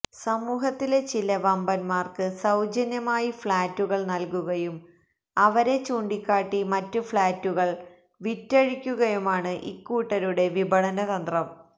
സമൂഹത്തിലെ ചില വമ്പന്മാര്ക്ക് സൌജന്യമായി ഫ്ളാറ്റുകള് നല്കുകയും അവരെ ചൂണ്ടിക്കാട്ടി മറ്റ് ഫ്ളാറ്റുകള് വിറ്റഴിക്കുകയുമാണ് ഇക്കൂട്ടരുടെ വിപണന തന്ത്രം